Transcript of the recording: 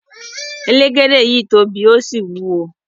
Elegede yii tobi o si wuwo